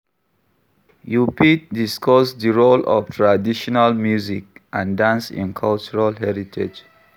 You fit discuss di role of traditional music and dance in cultural heritage.